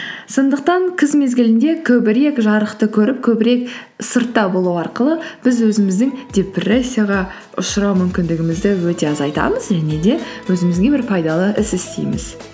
сондықтан күз мезгілінде көбірек жарықты көріп көбірек сыртта болу арқылы біз өзіміздің депрессияға ұшырау мүмкіндігімізді өте азайтамыз және де өзімізге бір пайдалы іс істейміз